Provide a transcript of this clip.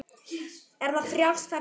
Er það frjálst ferða sinna?